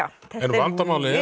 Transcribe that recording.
vandamálið er